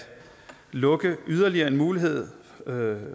lukke yderligere en mulighed